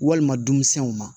Walima dumunɛnw ma